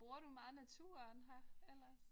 Bruger du meget naturen her ellers?